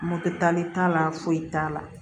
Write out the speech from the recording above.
Moto tali t'a la foyi t'a la